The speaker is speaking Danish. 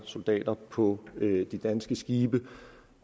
soldater på de danske skibe